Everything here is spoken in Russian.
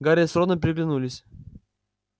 гарри с роном переглянулись